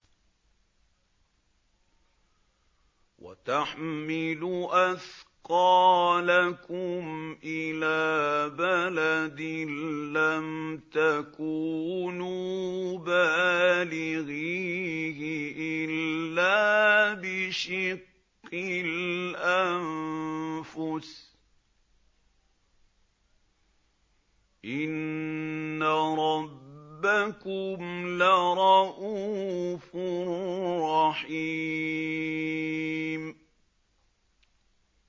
وَتَحْمِلُ أَثْقَالَكُمْ إِلَىٰ بَلَدٍ لَّمْ تَكُونُوا بَالِغِيهِ إِلَّا بِشِقِّ الْأَنفُسِ ۚ إِنَّ رَبَّكُمْ لَرَءُوفٌ رَّحِيمٌ